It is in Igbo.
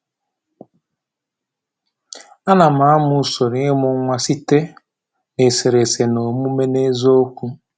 Anam amụ usoro imụ nwa site na eserese na omume n’eziokwu.